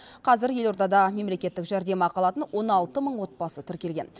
қазір елордада мемлекеттік жәрдемақы алатын он алты мың отбасы тіркелген